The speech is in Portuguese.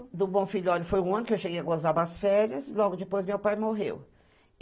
É, do Bom Filhole foi um ano que eu cheguei a gozar das férias, logo depois meu pai morreu.